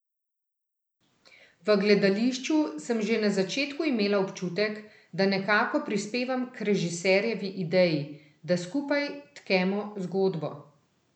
V gledališču sem že na začetku imela občutek, da nekako prispevam k režiserjevi ideji, da skupaj tkemo zgodbo.